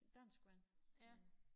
Danskvand øh